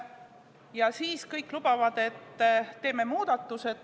Ja siis kõik lubavad, et teeme muudatused.